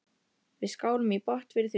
Við skálum í botn fyrir því.